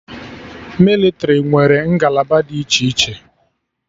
Mịlịtrị nwere ngalaba dị iche iche